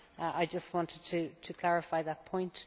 I just wanted to clarify that point.